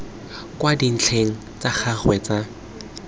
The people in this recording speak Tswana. kwa dintlheng tsa gagwe tsa